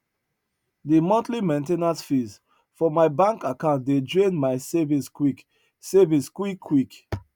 de monthly main ten ance fees for my bank account dey drain my savings quick savings quick quick